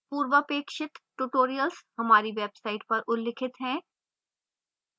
पूर्वापेक्षित tutorials हमारी website पर उल्लिखित हैं